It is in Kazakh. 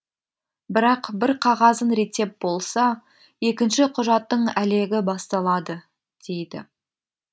бірақ бір қағазын реттеп болса екінші құжаттың әлегі басталады дейді